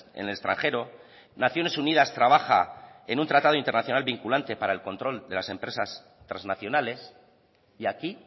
en el extranjero naciones unidas trabaja en un tratado internacional vinculante para el control de las empresas trasnacionales y aquí